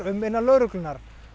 um innan lögreglunnar